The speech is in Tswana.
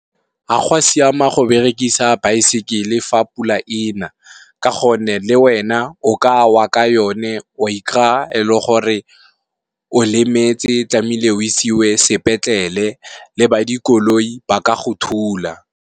Ga go a siama go berekisa baesekele fa pula ena ka gonne, le wena o ka wa ka yone wa ikry-a e le gore o lemetse tlamehile o isiwe sepetlele, le ba dikoloi ba ka go thula.